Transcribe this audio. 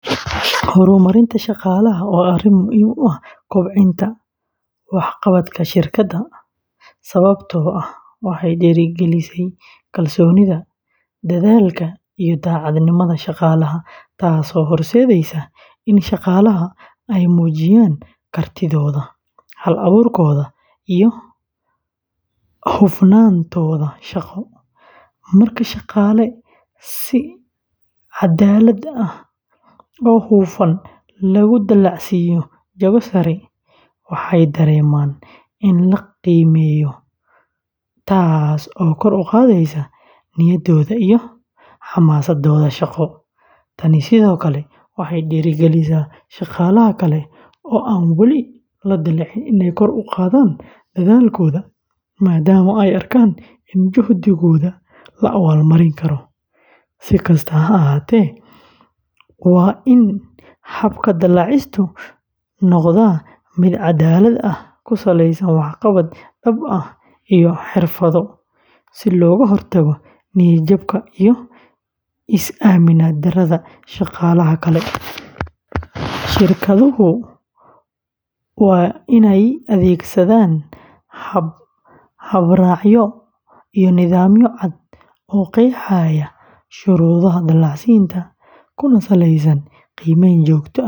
Horumarinta shaqaalaha waa arrin muhiim u ah kobcinta waxqabadka shirkadda, sababtoo ah waxay dhiirrigelisaa kalsoonida, dadaalka iyo daacadnimada shaqaalaha, taasoo horseedaysa in shaqaalaha ay muujiyaan kartidooda, hal-abuurkooda iyo hufnaantooda shaqo. Marka shaqaale si cadaalad ah oo hufan loogu dallacsiiyo jago sare, waxay dareemayaan in la qiimeeyo, taasoo kor u qaadaysa niyadooda iyo xamaasaddooda shaqo. Tani sidoo kale waxay dhiirrigelisaa shaqaalaha kale ee aan weli la dallacin inay kor u qaadaan dadaalkooda, maadaama ay arkaan in juhdigooda la abaalmarin karo. Si kastaba ha ahaatee, waa in habka dallacsiintu noqdaa mid caddaalad ah, ku saleysan waxqabad dhab ah iyo xirfado, si looga hortago niyad-jabka iyo is-aaminaad darrada shaqaalaha kale. Shirkaduhu waa inay adeegsadaan habraacyo iyo nidaamyo cad oo qeexaya shuruudaha dallacsiinta, kuna saleysan qiimeyn joogto ah.